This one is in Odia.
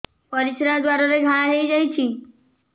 ପରିଶ୍ରା ଦ୍ୱାର ରେ ଘା ହେଇଯାଇଛି